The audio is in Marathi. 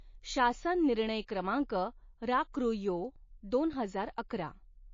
शासन निर्णय क्रमांक राकृयो दोन हजार अकरा